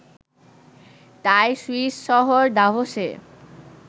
তাই সুইস শহর দাভোসে